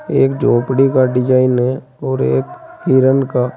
एक झोपड़ी का डिज़ाइन है और एक हिरन का।